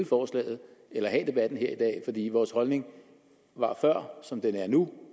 forslaget eller have debatten her i vores holdning var før som den er nu